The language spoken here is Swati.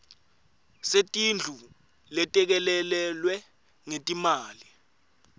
setindlu letelekelelwe ngetimali